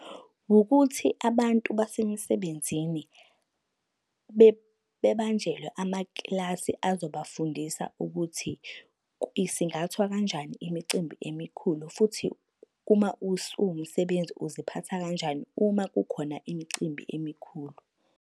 Wukuthi abantu basemsebenzini bebanjelwe amakilasi azobafundisa ukuthi isingathwa kanjani imicimbi emikhulu futhi, uma usuwumsebenzi uziphatha kanjani uma kukhona imicimbi emikhulu.